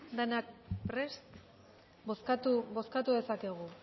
denok prest bozkatu dezakegu